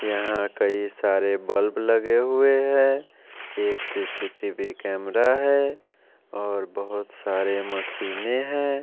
यहां कई सारे बल्ब लगे हुए हैं एक सी_सी_टी_वी कैमरा है और बहोत सारे मशीनें हैं।